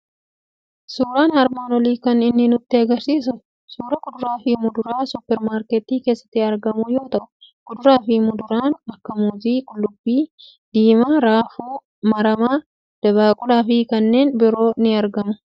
Suuraan armaan olii kan inni nutti argisiisu suuraa kuduraa fi muduraa suuper maarketii keessatti argamu yoo ta'u, kuduraa fi muduraan akka muuzii qullubbii diimaa , raafuu maramaa, dabaaqulaa fi kan biroo ni argamu.